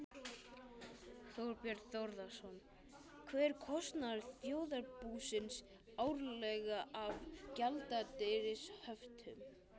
Þorbjörn Þórðarson: Hver er kostnaður þjóðarbúsins árlega af gjaldeyrishöftum?